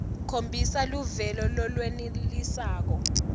khombisa luvelo lolwenelisako